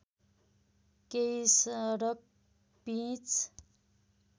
केही सडक पिच